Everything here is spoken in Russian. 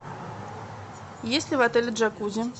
есть ли в отеле джакузи